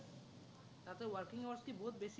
তাতে working hours বহুত বেছি আছিলে নেকি?